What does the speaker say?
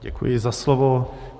Děkuji za slovo.